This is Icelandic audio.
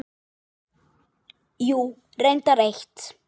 Jú, reyndar eitt.